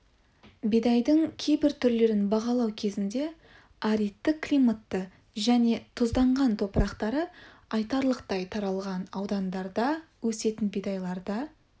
бидайдың кейбір түрлерін бағалау кезінде аридті климатты және тұзданған топырақтары айтарлықтай таралған аудандарда өсетін бидайларда